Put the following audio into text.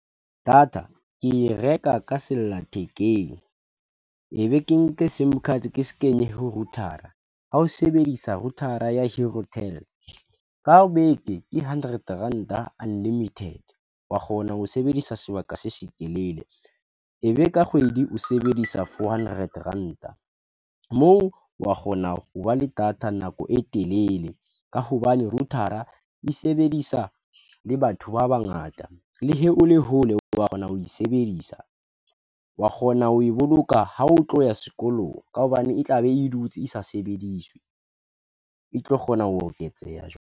Data ke e reka ka sella thekeng e be ke nke S_I_M card ke kenye ho router-a ha o sebedisa router-a ya ka beke ke hundred rand unlimited, wa kgona ho sebedisa sebaka se setelele e be ka kgwedi o sebedisa four hundred ranta moo, wa kgona ho ba le data nako e telele ka hobane router-a e sebedisa le batho ba bangata le he o le hole oo wa kgona ho e sebedisa wa kgona ho e boloka ha o tlo ya sekolong, ka hobane e tla be e dutse e sa sebediswe, e tlo kgona ho oketseha jwale.